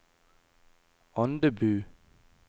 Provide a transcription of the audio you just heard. Andebu